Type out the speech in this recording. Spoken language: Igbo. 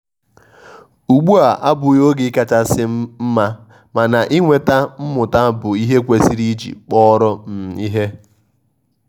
ụgbụ a abughi oge kachasi mmamana inweta mmuta bụ ihe ekwesiri iji kpọrọ um ihe.